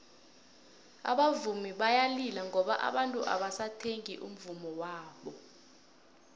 abavumi bayalila ngoba abantu abasathengi umvummo wabo